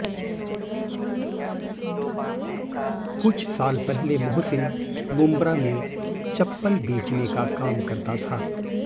कुछ साल पहले मोहसिन मुंब्रा में चप्पल बेचने का काम करता था